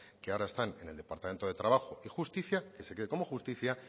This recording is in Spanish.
que ahora están en el departamento de trabajo y justicia que se quede como justicia